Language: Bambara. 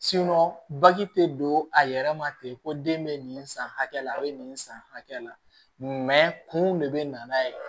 bagi tɛ don a yɛrɛ ma ten ko den bɛ nin san hakɛ la a bɛ nin san hakɛ la kun de bɛ na n'a ye